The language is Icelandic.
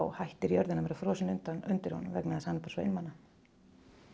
hættir jörðin að vera frosin undir honum vegna þess að hann er bara svo einmana